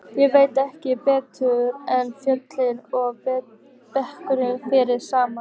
Ég veit ekki betur en fjöll og brekkur fari saman.